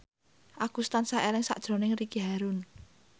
Agus tansah eling sakjroning Ricky Harun